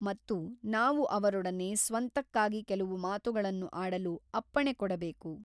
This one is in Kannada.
ಮತ್ತು ನಾವು ಅವರೊಡನೆ ಸ್ವಂತಕ್ಕಾಗಿ ಕೆಲವು ಮಾತುಗಳನ್ನು ಆಡಲು ಅಪ್ಪಣೆ ಕೊಡಬೇಕು.